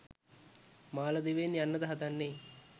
මාලදිවයින් යන්නද හදන්නේ?